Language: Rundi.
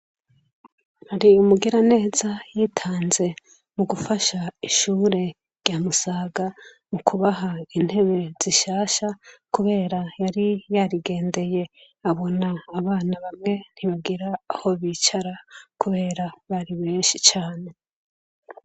Hari umugiraneza yitanze mu gufasha ishure rya Musaga mu kubaha intebe zishasha kubera yari yarigendeye abona abana bamwe ntibagira aho bicara kubera bari benshi cane.